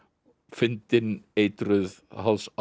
fyndin eitruð